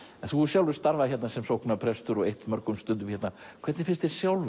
en þú hefur sjálfur starfað hér sem sóknarprestur og eytt mörgum stundum hérna hvernig finnst þér sjálfum